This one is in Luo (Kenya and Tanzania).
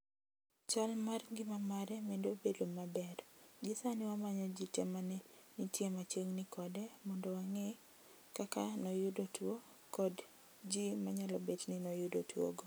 Chal mar ngima mare medo bedo maber gi sani wamanyo ji te mane nitie machiegni kode mod wang'e kaka noyudo tuwo kond ji manyalo bed ni noyudo tuwogo.